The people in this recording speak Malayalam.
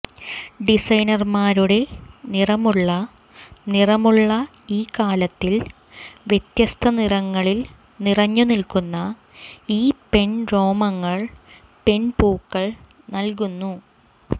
ഡിസൈനർമാരുടെ നിറമുള്ള നിറമുള്ള ഈ കാലത്തിൽ വ്യത്യസ്ത നിറങ്ങളിൽ നിറഞ്ഞുനിൽക്കുന്ന ഈ പെൺ രോമങ്ങൾ പെൺപൂക്കൾ നൽകുന്നു